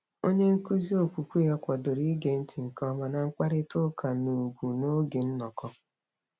Onyenkụzi okwukwe ya kwadoro ige ntị nke ọma na mkparịtaụka n'ùgwù n'oge nnọkọ.